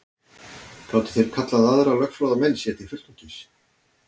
Gátu þeir kallað aðra lögfróða menn sér til fulltingis.